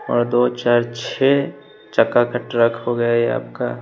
और दो चार छे चक्का का ट्रक हो गया ये आपका--